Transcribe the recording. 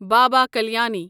Baba Kalyani